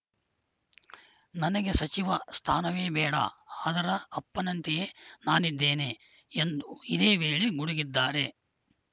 ನನಗೆ ಸಚಿವ ಸ್ಥಾನವೇ ಬೇಡ ಅದರ ಅಪ್ಪನಂತೆಯೇ ನಾನಿದ್ದೇನೆ ಎಂದು ಇದೇ ವೇಳೆ ಗುಡುಗಿದ್ದಾರೆ